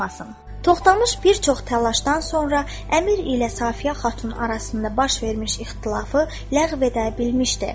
Toxtamış bir çox təlaşdan sonra Əmir ilə Safiyə xatun arasında baş vermiş ixtilafı ləğv edə bilmişdi.